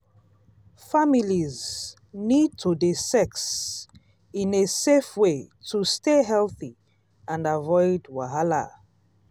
families need to dey sex in a safe way to stay healthy and avoid wahala.